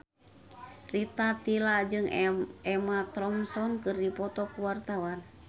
Rita Tila jeung Emma Thompson keur dipoto ku wartawan